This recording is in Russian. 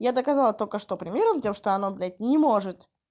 я доказала только что примером тем что оно блядь не может